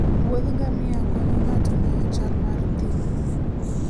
wuodh ngamia konyo ng'ato ng'eyo chal mar thim.